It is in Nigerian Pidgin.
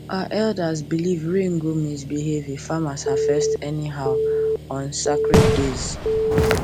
our elders believe rain go misbehave if farmers harvest anyhow on sacred dates